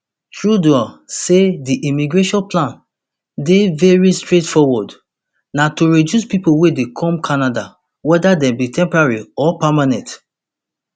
trudeau say di immigration plan dey veri straightforward na to reduce pipo wey dey come canada weda dem be temporary or permanent